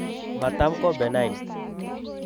Mataam ko benign .